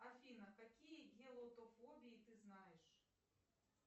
афина какие гелотофобии ты знаешь